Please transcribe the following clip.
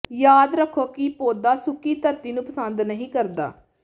ਯਾਦ ਰੱਖੋ ਕਿ ਪੌਦਾ ਸੁੱਕੀ ਧਰਤੀ ਨੂੰ ਪਸੰਦ ਨਹੀ ਕਰਦਾ ਹੈ